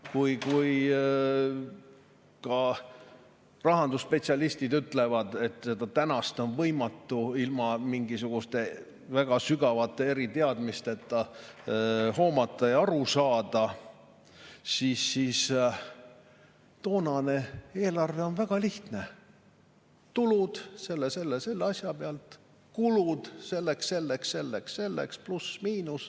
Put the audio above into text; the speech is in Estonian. Kui ka rahandusspetsialistid ütlevad, et tänast on võimatu ilma mingisuguste väga sügavate eriteadmisteta hoomata ja sellest aru saada, siis toonane eelarve oli väga lihtne: tulud selle ja selle asja pealt, kulud selleks ja selleks, pluss-miinus.